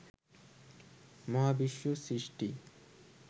মহাবিশ্ব সৃষ্টির